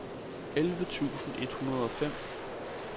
elleve tusind et hundrede og fem